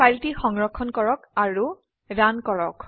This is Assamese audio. ফাইলটি সংৰক্ষণ কৰক আৰু ৰান কৰক